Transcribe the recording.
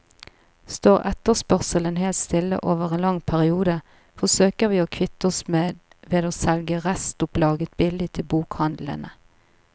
Står etterspørselen helt stille over en lang periode, forsøker vi å kvitte oss med ved å selge restopplaget billig til bokhandlene.